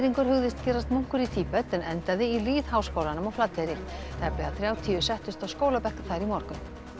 hugðist gerast munkur í Tíbet en endaði í lýðháskólanum á Flateyri tæplega þrjátíu settust á skólabekk þar í morgun